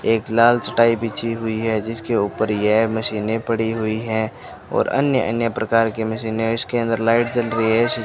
एक लाल चटाई बिछी हुई है जिसके ऊपर यह मशीनें पड़ी हुई है और अन्य अन्य प्रकार की मशीनें हैं इसके अंदर लाइट जल रही है।